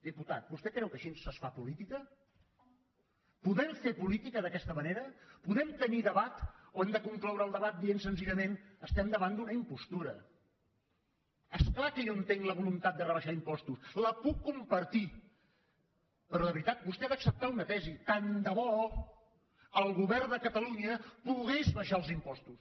diputat vostè creu que així es fa política podem fer política d’aquesta manera podem tenir debat o hem de concloure el debat dient senzillament estem davant d’una impostura és clar que jo entenc la voluntat de rebaixar impostos la puc compartir però de veritat vostè ha d’acceptar una tesi tant de bo el govern de catalunya pogués abaixar els impostos